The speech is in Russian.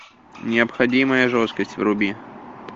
необходимая жесткость вруби